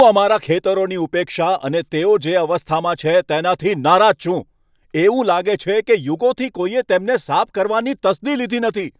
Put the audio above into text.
હું અમારા ખેતરોની ઉપેક્ષા અને તેઓ જે અવ્યવસ્થામાં છે તેનાથી નારાજ છું. એવું લાગે છે કે યુગોથી કોઈએ તેમને સાફ કરવાની તસ્દી લીધી નથી.